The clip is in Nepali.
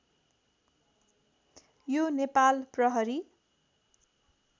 यो नेपाल प्रहरी